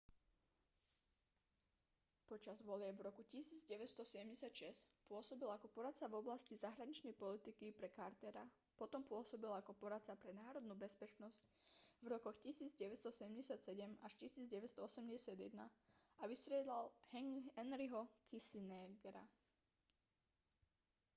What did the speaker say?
počas volieb v roku 1976 pôsobil ako poradca v oblasti zahraničnej politiky pre cartera potom pôsobil ako poradca pre národnú bezpečnosť v rokoch 1977 až 1981 a vystriedal henryho kissingera